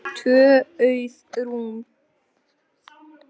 Tvö auð rúm.